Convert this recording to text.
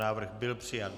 Návrh byl přijat.